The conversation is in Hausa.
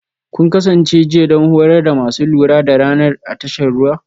Kun kasance jiya don horar da masu lura da Radar a tashar ruwa?